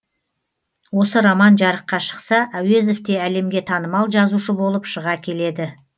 осы роман жарыққа шықса әуезов те әлемге танымал жазушы болып шыға келеді